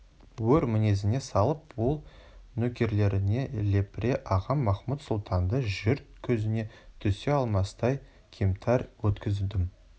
өр мінезіне салып ол нөкерлеріне лепіре ағам махмұт-сұлтанды жұрт көзіне түсе алмастай кемтар еткіздім